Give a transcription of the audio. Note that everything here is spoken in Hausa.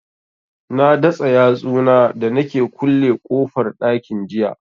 Na datsa yatsu na da nake kulle kofar ɗakin jiya